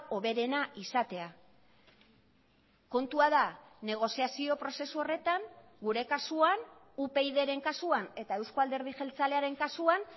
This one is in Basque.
hoberena izatea kontua da negoziazio prozesu horretan gure kasuan upydren kasuan eta euzko alderdi jeltzalearen kasuan